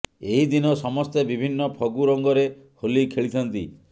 ଏହି ଦିନ ସମସ୍ତେ ବିଭିନ୍ନ ଫଗୁ ରଙ୍ଗରେ ହୋଲି ଖେଳିଥାନ୍ତି